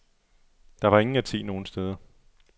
Der var ingen at se nogen steder.